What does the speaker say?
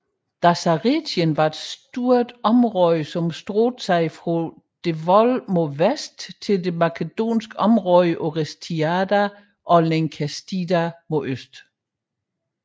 Dasaretien var stort område som strakte sig fra Devol mod vest til det makedonske område Orestiada og Linkestida mod øst